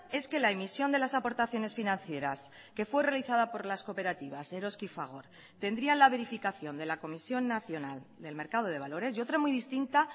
es que la emisión de las aportaciones financieras que fue realizada por las cooperativas eroski y fagor tendría la verificación de la comisión nacional del mercado de valores y otra muy distinta